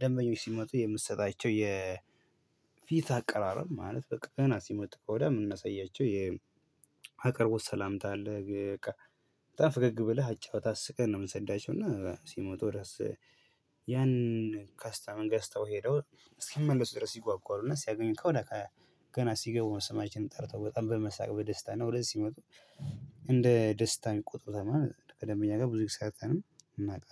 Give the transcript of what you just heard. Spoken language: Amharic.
ደንበኞች ሲመጡ የምትሰጣቸው የፊት አቀራረብ ማለት በቃ ገና ሲመጥ ከወዲያ የምናሳያቸው አቅርቦት ሰላምታ አለ፣ በቃ በጣም ፍገግ ብለህ አጫውተህ፣ አስቀህ ነው የምንሰዳቸው እና እስኪመጡ ድረስ ያንን ካስታ ገዝተው ሄደው እስኪመለሱ ድረስ ይጓጓሉ እና ሲያገኙህ ከወዲያ ገና ሲገቡ ስማችንን ጠርተው በጣም በመሳቅ በደስታ ነው ወደዚህ ሲመጡ እንደ ደስታ የሚቆጡት። ከደንበኛ ጋር ብዙ ጊዜ ሰርተንም ም እናውቃለን።